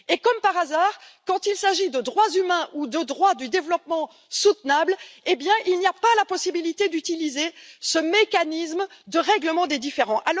Et, comme par hasard, quand il s'agit de droits humains ou de droits du développement durable, eh bien il n'y a pas la possibilité d'utiliser ce mécanisme de règlement des différends.